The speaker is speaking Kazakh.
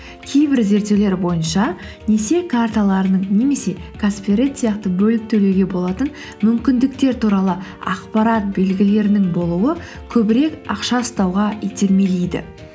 кейбір зерттеулер бойынша несие карталарының немесе каспи ред сияқты бөліп төлеуге болатын мүмкіндіктер туралы ақпарат белгілерінің болуы көбірек ақша ұстауға итермелейді